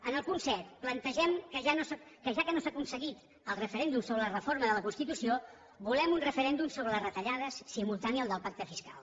en el punt set plantegem que ja que no s’ha aconseguit el referèndum sobre la reforma de la constitució volem un referèndum sobre les retallades simultani al del pacte fiscal